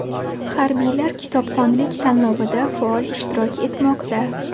Harbiylar kitobxonlik tanlovida faol ishtirok etmoqda .